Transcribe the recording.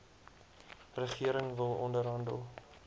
regering wil onderhandel